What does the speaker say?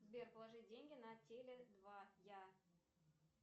сбер положи деньги на теле два я